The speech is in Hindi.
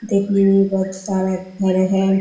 दिखने में ये बहोत सारा घर है।